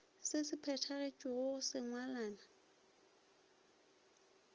se se phethagetšego sa sengwalwana